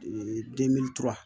demili tura